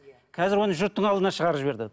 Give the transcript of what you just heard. қазір оны жұрттың алдына шығарып жіберді